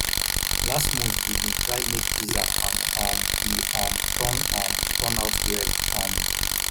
last month we bin try make pizza and um e um turn um turn out well um